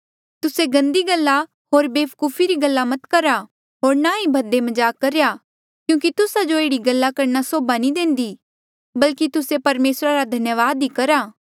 तुस्से गंदी गल्ला होर वेवकुफी री गल्ला मत करा होर ना ही भद्दे मजाक करो क्यूंकि तुस्सा जो एह्ड़ी गल्ला करणा सोभा नी देंदी बल्की तुस्से परमेसरा रा धन्यावाद ही करा